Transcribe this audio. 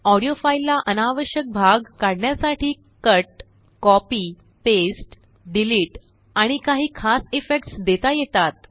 audio फाईललाअनावश्यक भाग काढण्यासाठी कटकॉपी पेस्ट डिलीट आणि काही खास इफेक्ट्स देता येतात